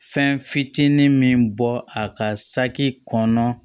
Fɛn fitinin min bɔ a ka saki kɔnɔ